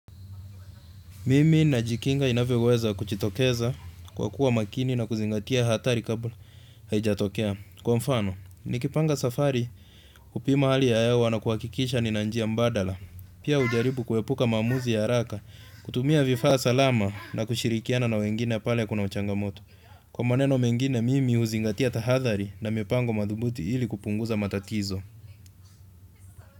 Mimi najikinga inavyoweza kujitokeza kwa kuwa makini na kuzingatia hatari kabla haijatokea. Kwa mfano, nikipanga safari hupima hali ya hewa na kuhakikisha nina njia mbadala. Pia hujaribu kuepuka maamuzi ya haraka, kutumia vifaa salama na kushirikiana na wengine pale kuna uchangamoto. Kwa maneno mengine mimi huzingatia tahathari na mipango thubuti ili kupunguza matatizo.